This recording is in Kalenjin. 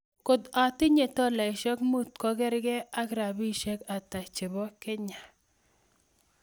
Kot atinye tolaisiek muut ko kergee ak rabisyek ata che po Kenya